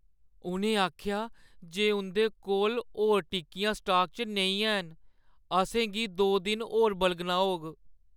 उʼनें आखेआ जे उंʼदे कोल होर टिक्कियां स्टॉक च नेईं हैन। असें दो दिन होर बलगना होग।